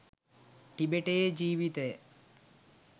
ටිබෙටයේ ජීවිතය